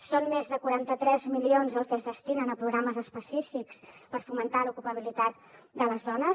són més de quaranta tres milions el que es destina a programes específics per fomentar l’ocupabilitat de les dones